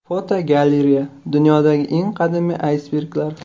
Fotogalereya: Dunyodagi eng qadimiy aysberglar.